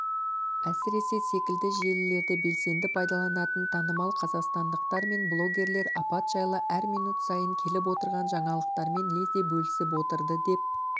әсіресе секілді желілерді белсенді пайдаланатын танымал қазақстандықтар мен блогерлер апат жайлы әр минут сайын келіп отырған жаңалықтармен лезде бөлісіп отырды деп